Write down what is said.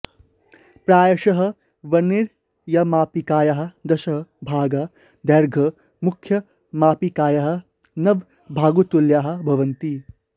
प्रायशः वर्नियरमापिकायाः दश भागाः दैर्घ्यं मुख्यमापिकायाः नवभागतुल्याः भवन्ति